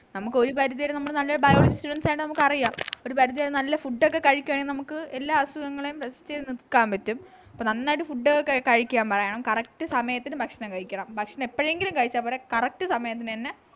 നമുക്കൊരു പരിധി വരെ നമ്മള് നല്ലൊരു biology students ആയോണ്ട് നമുക്കറിയ ഒരു പരിധി വരെ നല്ല food ഒക്കെ കഴിക്കാണെങ്കി നമുക്ക് എല്ലാ അസുഖങ്ങളെയും നിക്കാൻ പറ്റും അപ്പൊ നന്നായിട്ട് food കഴിക്കാൻ പറയണം correct സമയത്തിന് ഭക്ഷണം കഴിക്കണം ഭക്ഷണം എപ്പോഴെങ്കിലും കഴിച്ച പോരാ correct സമയത്തിന് തന്നെ